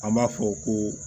An b'a fɔ ko